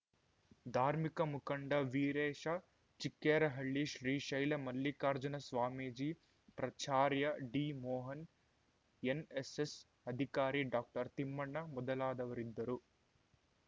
ದಾರ್ಮಿಕ ಮುಖಂಡ ವೀರೇಶ ಚಿಕ್ಕೇರಹಳ್ಳಿ ಶ್ರೀ ಶೈಲ ಮಲ್ಲಿಕಾರ್ಜುನ ಸ್ವಾಮೀಜಿ ಪ್ರಚಾರ್ಯ ಡಿಮೋಹನ್ ಎನ್‌ಎಸ್‌ಎಸ್‌ ಅಧಿಕಾರಿ ಡಾಕ್ಟರ್ ತಿಮ್ಮಣ್ಣ ಮೊದಲಾದವರಿದ್ದರು